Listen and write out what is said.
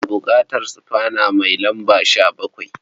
Ana buƙatar sufana mai lamba 17.